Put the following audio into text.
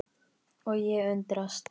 Og ég undrast.